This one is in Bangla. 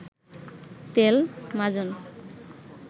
তেল, মাজন